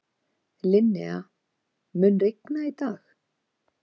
Linnea, mun rigna í dag?